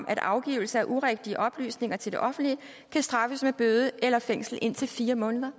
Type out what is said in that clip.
at afgivelse af urigtige oplysninger til det offentlige kan straffes med bøde eller fængsel indtil fire måneder